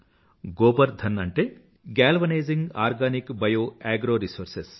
గోబర్ధన్ అంటే galvanizing organic bio agro resources